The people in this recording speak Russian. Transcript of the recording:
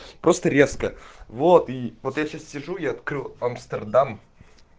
просто резко вот и вот я сейчас сижу я открыл амстердам